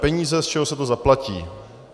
Peníze, z čeho se to zaplatí.